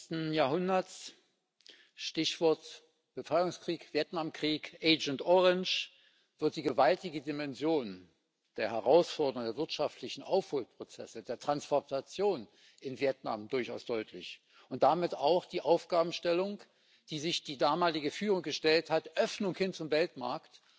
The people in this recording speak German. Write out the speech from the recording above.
20. Jahrhunderts Stichwort Befreiungskrieg, Vietnamkrieg, Agent Orange wird die gewaltige Dimension der Herausforderung der wirtschaftlichen Aufholprozesse, der Transformation in Vietnam durchaus deutlich und damit auch die Aufgabenstellung, die sich die damalige Führung gestellt hat Öffnung hin zum Weltmarkt,